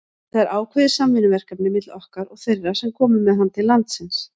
Þetta er ákveðið samvinnuverkefni milli okkar og þeirra sem komu með hann til landsins.